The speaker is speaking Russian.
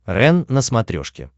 рен на смотрешке